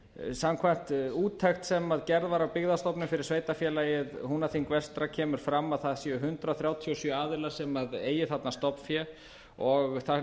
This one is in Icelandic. samkvæmt úttekt sem gerð var á byggðastofnun fyrir sveitarfélagið húnaþing vestra kemur fram á það séu hundrað þrjátíu og sjö aðilar sem eigi þarna stofnfé og það